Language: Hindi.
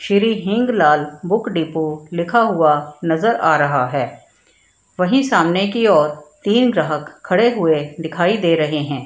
श्री हींग लाल बुक डिपो लिखा हुआ नजर आ रहा है वहीं सामने की ओर तीन ग्राहक खड़े हुए दिखाई दे रहे है।